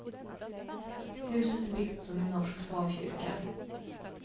Huset är byggt som en norsk stavkyrka.